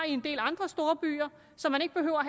en del andre storbyer så man ikke behøver at